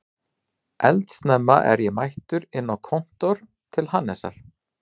Eldsnemma er ég mættur inn á kontór til Hannesar